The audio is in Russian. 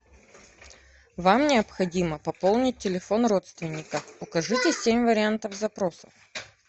вам необходимо пополнить телефон родственника укажите семь вариантов запросов